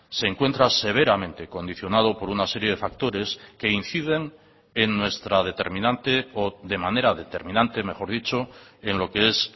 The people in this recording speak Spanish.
se encuentra severamente condicionado por una serie de factores que inciden en nuestra determinante o de manera determinante mejor dicho en lo que es